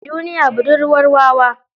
Duniya budurwar wawa.